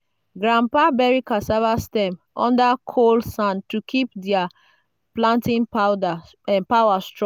grandpa bury cassava stem under col sand to keep their planting powder power strong.